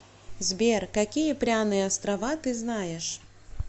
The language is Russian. сбер какие пряные острова ты знаешь